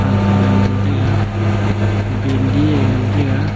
anthow ee ngan taiga bendi ye ngan taiga.